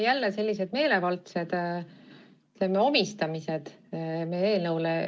Jälle selline meelevaldne omistamine meie eelnõule.